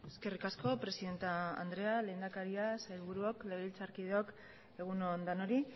eskerrik asko presidente anderea lehendakaria sailburuok legebiltzarkideok egun on denoi